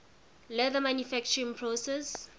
leather manufacturing process